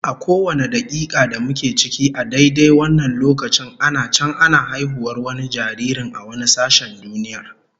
A kowane dakika da muke ciki a daidai wannan lokacin ana can ana haihuwar wani jaririn a wani sashen duniyar.